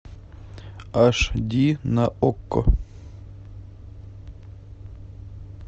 аш ди на окко